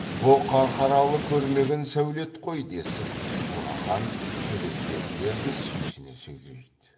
бұ қарқаралы көрмеген сәулет қой десіп бурахан төлепберділер де сүйсіне сөйлейді